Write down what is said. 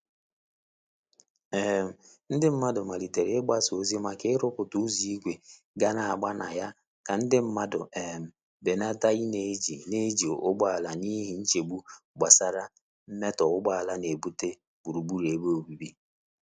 um Ndị mmadụ malitere mgbasa ozi maka iruputa ụzọ igwe ga n'agba na ya ka nde mmandu um benata i n'eji n'eji ụgbọala n'ihi nchegbu gbasara mmetọ ugboala nebute gburugburu ebe obibi.